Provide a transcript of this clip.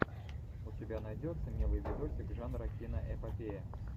у тебя найдется милый видосик жанра киноэпопея